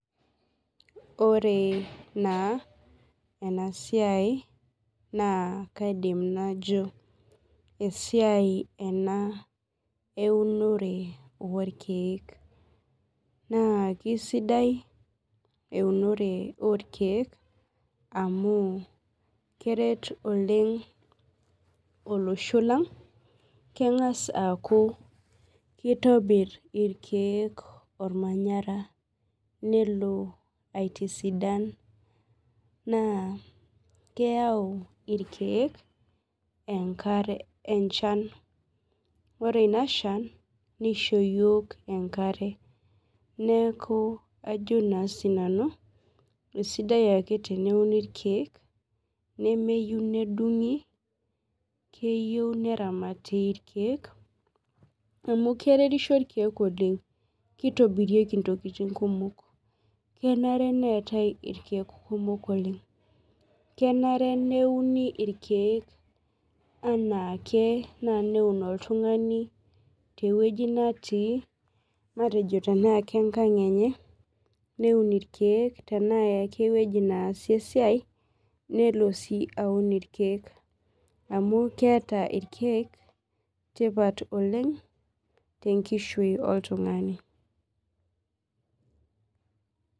Oree naa enaa siai naa kaidim najo esiai enaa eunore oorkie, kasidai eunore oorkie amu keret oleng olosho Lang ,kengas aku kitobir irkieek ormanyara nelo aitisidan, naa keyau irkieek enchan ore in na shan nisho yiook enkare, neeku ajo naa sinanu esidai ake teneuni irkieek nemeyieu nedungi, keyieu neramati irkieek amu keretisho irkieek oleng, kitobirieki intokitin kumok, kenare neetae irkieek kumok oleng, kenare nieuni irkieek enaake, naa neun oltungani teweji netii matejo tenaa kenga enye neun irkieek ashu enasie esiai nelo ake aun irkieek amu keeta irkieek tipat oleng tenkishui oltungani